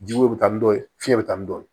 Jiko bɛ taa ni dɔ ye fiɲɛ bɛ taa ni dɔ ye